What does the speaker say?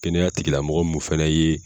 Kɛnɛya tigi la mɔgɔ min fɛnɛ ye